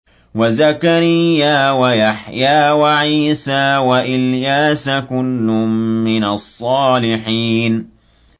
وَزَكَرِيَّا وَيَحْيَىٰ وَعِيسَىٰ وَإِلْيَاسَ ۖ كُلٌّ مِّنَ الصَّالِحِينَ